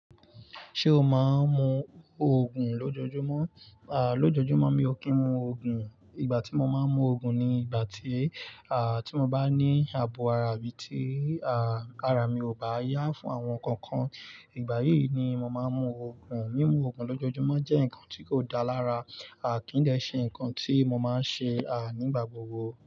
Ṣé o máa ń mu Ògùn lójoojúmọ́? Lójoojúmọ́ mi ò kí ń mu Ògùn. Ìgbà tí mo máa ń mu Ògùn ni ìgbà tí mo bá ní ààbò ara bí i tí ara mi ò bá yá fún àwọn nǹkan kan. Ìgbà yìí ni mo máa ń mu Ògùn. Mímu Ògùn lójoojúmọ́ jẹ́ nǹkan tí kò dára. Kí n dẹ́ ṣe nǹkan tí mo máa ń ṣe, nígbà gbogbo.